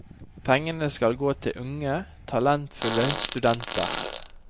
Pengene skal gå til unge, talentfulle studenter.